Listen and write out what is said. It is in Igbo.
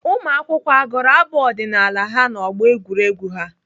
Ụmụakwụkwọ agụrụ abụ ọdịnaala ha n'ọgbọ egwuregwu ha?